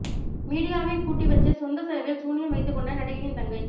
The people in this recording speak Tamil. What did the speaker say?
மீடியாவை கூட்டிவச்சு சொந்த செலவில் சூனியம் வைத்துக் கொண்ட நடிகையின் தங்கை